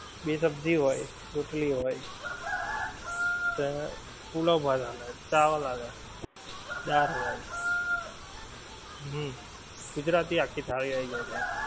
બે સબ્જી હોય રોટલી હોય પુલાવ ભાત ચાલે ચાવલ હાલે દાળ હોય હમ ગુજરાતી આખી થાળી આવી જાય ત્યાં.